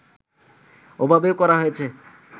ওইভাবে করা হয়েছে